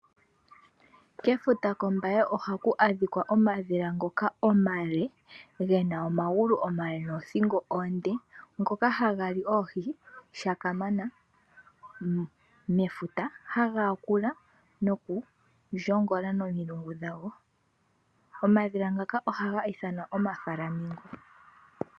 Kefuta kOmbaye ohaku adhika omadhila ngoka omale ge na omagulu omale noothingo oonde, ngoka haga li oohi kamana mefuta. Haga yakula nokushomona nomilungu dhago. Omadhila ngaka ohaga ithanwa omafulamingo.